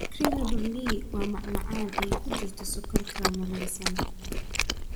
Creme brulee waa macmacaan ay ku jirto sokor caramelaysan.